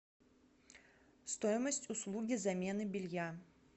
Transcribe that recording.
стоимость услуги замены белья